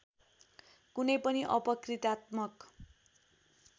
कुनै पनि अपकृत्यात्मक